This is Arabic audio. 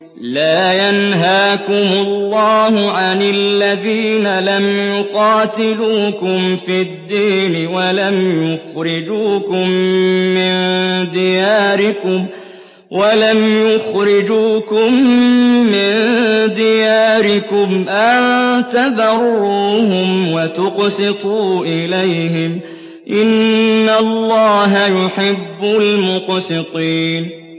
لَّا يَنْهَاكُمُ اللَّهُ عَنِ الَّذِينَ لَمْ يُقَاتِلُوكُمْ فِي الدِّينِ وَلَمْ يُخْرِجُوكُم مِّن دِيَارِكُمْ أَن تَبَرُّوهُمْ وَتُقْسِطُوا إِلَيْهِمْ ۚ إِنَّ اللَّهَ يُحِبُّ الْمُقْسِطِينَ